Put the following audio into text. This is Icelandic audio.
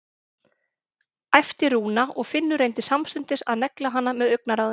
æpti Rúna og Finnur reyndi samstundis að negla hana með augnaráðinu.